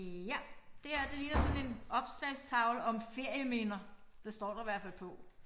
Ja det her det ligner sådan en opslagstavle om ferieminder. Det står der i hvert fald på